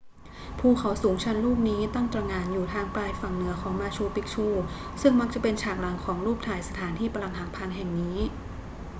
ภูเขาสูงชันลูกนี้ตั้งตระหง่านอยู่ทางปลายฝั่งเหนือของมาชูปิกชูซึ่งมักจะเป็นฉากหลังของรูปถ่ายสถานที่ปรักหักพังแห่งนี้